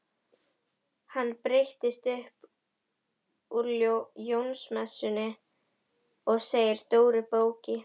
Hann breytist upp úr Jónsmessunni segir Dóri bóki.